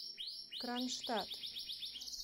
кронштадт